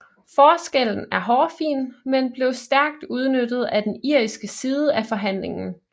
Forskellen er hårfin men blev stærkt udnyttet af den irske side af forhandlingen